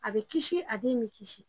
A be kisi a den me kisi